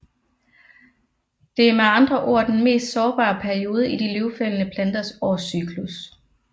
Det er med andre ord den mest sårbare periode i de løvfældende planters årscyklus